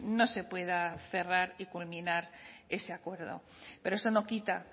no se pueda cerrar y culminar ese acuerdo pero eso no quita